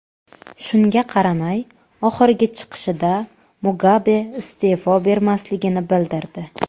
Shunga qaramay, oxirgi chiqishida Mugabe iste’fo bermasligini bildirdi .